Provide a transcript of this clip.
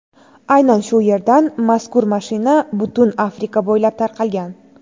Aynan shu yerdan mazkur mashina butun Afrika bo‘ylab tarqalgan.